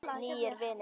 Nýir vinir